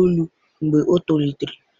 elu mgbe o tolitere.